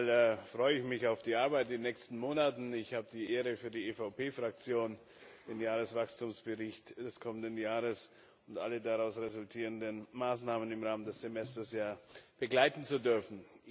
Zunächst einmal freue ich mich auf die Arbeit in den nächsten Monaten. Ich habe die Ehre, für die EVP Fraktion den Jahreswachstumsbericht des kommenden Jahres und alle daraus resultierenden Maßnahmen im Rahmen des Semesters begleiten zu dürfen.